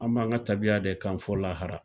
An m'an ka tabiya de kan fo lahara